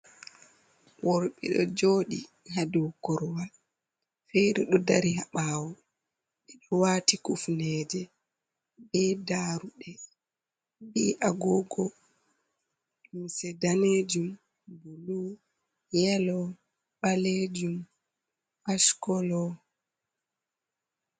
Worɓe ɗo joɗi ha dou korwal, fere ɗo dari ha ɓawo, ɓedo wati kufneje be daruɗe, be agogo, limse danejum, bulu, yelo, ɓalejum ash kolo.